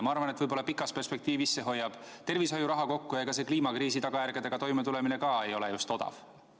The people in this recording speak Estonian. Ma arvan, et pikas perspektiivis hoiab see tervishoiuraha kokku ja ega selle kliimakriisi tagajärgedega toimetulemine ka just odav ei ole.